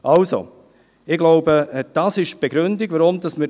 Also: Ich glaube, dass dies die Begründung ist.